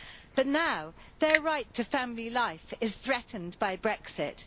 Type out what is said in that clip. But now their right to family life is threatened by Brexit.